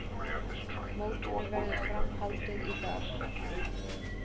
Mótinu verður fram haldið í dag